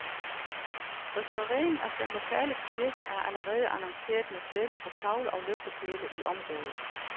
Restaureringen af den lokale kirke er allerede annonceret med sedler på tavler og lygtepæle i området.